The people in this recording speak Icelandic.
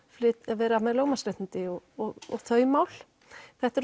vera með lögmannsréttindi og og þau mál þetta eru